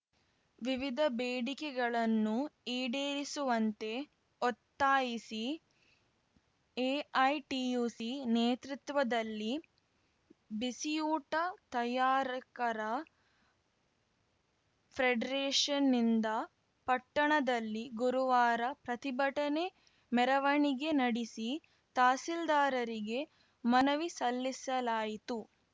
ವಿವಿಧ ಬೇಡಿಕೆಗಳನ್ನು ಈಡೇರಿಸುವಂತೆ ಒತ್ತಾಯಿಸಿ ಎಐಟಿಯುಸಿ ನೇತೃತ್ವದಲ್ಲಿ ಬಿಸಿಯೂಟ ತಯಾರಕರ ಫ್ರೆಡ್ರೆಷನ್‌ನಿಂದ ಪಟ್ಟಣದಲ್ಲಿ ಗುರುವಾರ ಪ್ರತಿಭಟನೆ ಮೆರವಣಿಗೆ ನಡಿಸಿ ತಹಸೀಲ್ದಾರರಿಗೆ ಮನವಿ ಸಲ್ಲಿಸಲಾಯಿತು